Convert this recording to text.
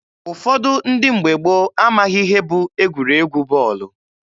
Ụfọdụ ndị mgbe gboo amaghị ihe bụ egwuregwu bọọlụ.